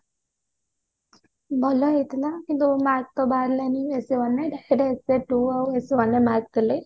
ହଁ ଭଲ ହେଇଥିଲା କିନ୍ତୁ mark ତ ବାହାରିଲାନି essay one ରେ ସେଇଟା essay two ଆଉ essay one ର mark ଦେଲେ